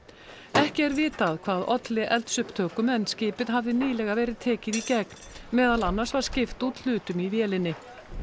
ekki er vitað hvað olli eldsupptökum en skipið hafði nýlega verið tekið í gegn meðal annars var skipt út hlutum í vélinni